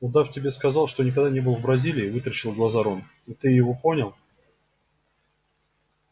удав тебе сказал что никогда не был в бразилии вытаращил глаза рон и ты его понял